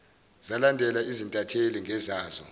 zalandela izintatheli ngezazo